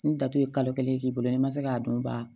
Ni datugu ye kalo kelen k'i bolo n'i ma se k'a dun u ba